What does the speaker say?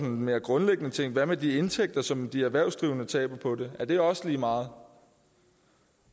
en mere grundlæggende ting hvad med de indtægter som de erhvervsdrivende taber på det er det også lige meget og